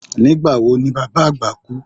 Nígbà wo ni baba agba kú?